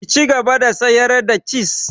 Ki cigaba da sayar da ciz!